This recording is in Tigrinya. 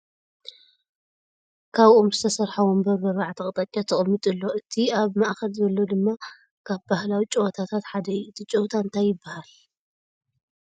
ካብ ኦም ዝተሰረሓ ወንበር ብኣርባዕተ ኣቅጣጫ ተቀሚጡ ኣሎ ። እቲኣብ ማእከል ዘሎ ድማ ካብ ባህላዊ ጨወታታት ሓደ እዩ ። እቲ ጨወታ እንታይ ይባሃል ?